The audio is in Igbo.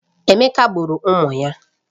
Emeka gburu ụmụ ya